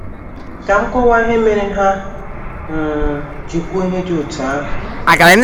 Ka m kọwaa ihe mere ha um ji kwuo ihe dị otú ahụ.